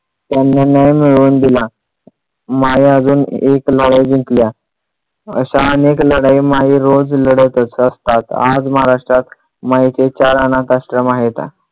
त्यांना न्याय मिळवून दिला. माई अजून एक लढाई जिंकल्या. अशा अनेक लढाई माई लढत असतात आज महाराष्ट्रात माईंचे चार अनाथाश्रम आहेत.